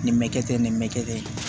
Nin bɛ kɛ ten nin bɛ kɛ dɛ